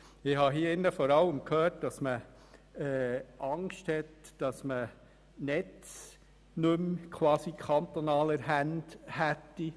Ich habe hier vor allem gehört, dass man Angst hat, die Netze nicht mehr in kantonalen Händen zu haben.